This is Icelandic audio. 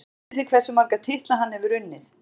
Vitið þið hversu marga titla hann hefur unnið?